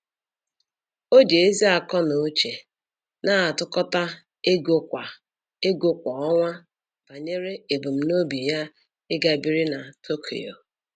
O ji ezi akọnuche na-atụkọta ego kwa ego kwa ọnwa banyere ebumnobi ya ịga biri na Tokyo